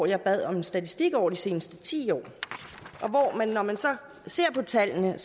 jeg bad om en statistik over de seneste ti år og når man så ser på tallene